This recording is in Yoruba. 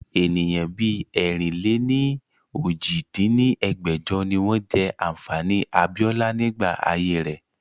Ènìyàn bí ẹ̀rin-lé-ní-ojì dín ní ẹgbẹ́jọ ni wọn jẹ́ ànfàní abiola nígbà ayé rẹ̀